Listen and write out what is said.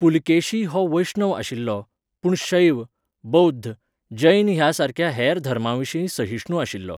पुलकेशी हो वैष्णव आशिल्लो, पूण शैव, बौध्द, जैन ह्या सारक्या हेर धर्मांविशीं सहिश्णु आशिल्लो.